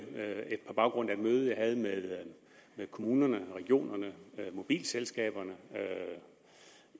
på baggrund af et møde jeg havde med kommunerne og regionerne mobilselskaberne